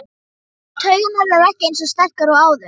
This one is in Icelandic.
Taugarnar eru ekki eins sterkar og áður.